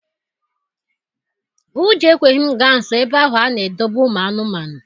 Ụjọ ekweghị m gaa nsọ ebe ahụ a na-edobe ụmụ anụmanụ.